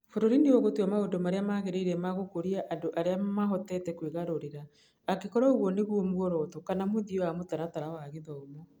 Bũrũri nĩ ũgũtua maũndũ marĩa magĩrĩire ma gũkũria andũ arĩa mahotete kwĩgarũrĩra, angĩkorũo ũguo nĩguo muoroto kana mũthia wa mũtaratara wa gĩthomo.